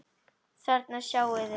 Þarna sjáið þið.